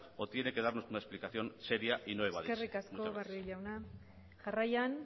o tiene que darnos una explicación seria y no evadirse muchas gracias eskerrik asko barrio jauna jarraian